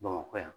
Bamakɔ yan